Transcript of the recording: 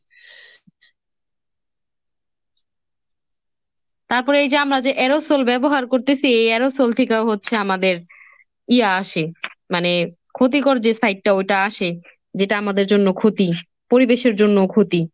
তারপরে এই যে আমরা যে aerosol ব্যবহার করতেছি, এই aerosol থেকেও হচ্ছে আমাদের ইয়া আসে মানে ক্ষতিকর যে side টা ওইটা আসে যেটা আমাদের জন্য ক্ষতি, পরিবেশের জন্যও ক্ষতি।